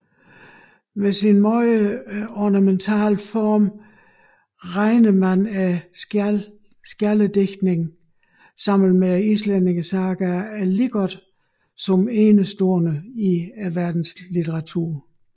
Med sin meget ornamentale form regnes skjaldedigtningen sammen med islændingesagaerne alligevel som enestående i verdenslitteraturen